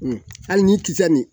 hali nin kisɛ nin